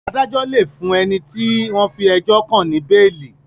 Adájo lẹ fún ẹní tí wón fí ejó kán ní beeli.